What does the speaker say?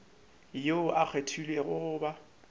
yoo a kgethilwego go ba